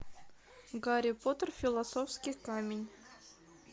гарри поттер философский камень